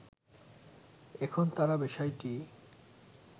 এখন তারা বিষয়টি